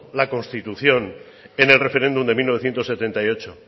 la constituían en el referéndum de mil novecientos setenta y ocho